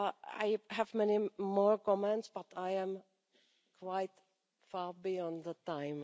on. I have many more comments, but I am quite far beyond the time.